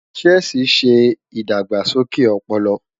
Chess ṣe idagbasoke ọpọlọ